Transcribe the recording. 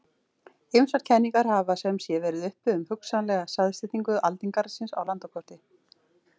Ýmsar kenningar hafa sem sé verið uppi um hugsanlega staðsetningu aldingarðsins á landakorti.